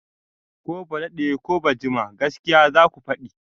Ko ba daɗe ko ba jima gaskiya zaku faɗi!